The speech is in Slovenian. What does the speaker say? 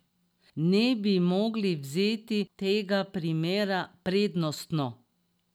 Ne bi mogli vzeti tega primera prednostno?